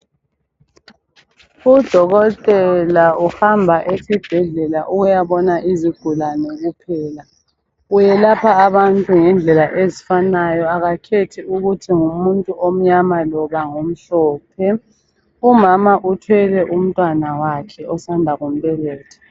Udokotela uhamba esibhedlela ukuyabona izigulane kuphela. Uyelapha abantu ngendlela ezifanayo, akakhethi ukuthi ngumuntu omnyama loba ngomhlophe. Umama uthwele umntwana wakhe osanda kumbeletha.